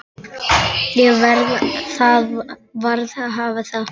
Það varð að hafa það.